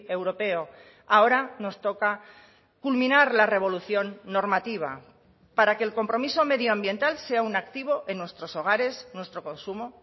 europeo ahora nos toca culminar la revolución normativa para que el compromiso medioambiental sea un activo en nuestros hogares nuestro consumo